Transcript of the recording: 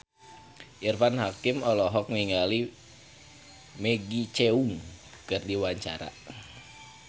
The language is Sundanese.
Irfan Hakim olohok ningali Maggie Cheung keur diwawancara